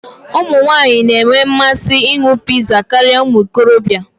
Ụmụ nwanyị na-enwe mmasị ịṅụ pizza karịa ụmụ okorobịa.